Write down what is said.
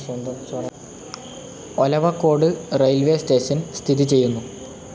Olavakkode railways station സ്ഥിതി ചെയ്യുന്നു.